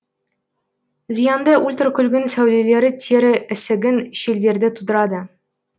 зиянды ультрокүгін сәулелері тері ісігін шелдерді тудырады